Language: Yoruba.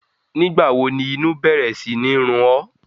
Nígbàwo ni inu bẹ̀rẹ̀ sini run ọ́?